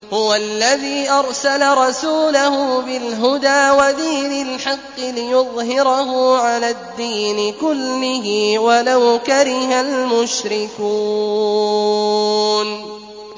هُوَ الَّذِي أَرْسَلَ رَسُولَهُ بِالْهُدَىٰ وَدِينِ الْحَقِّ لِيُظْهِرَهُ عَلَى الدِّينِ كُلِّهِ وَلَوْ كَرِهَ الْمُشْرِكُونَ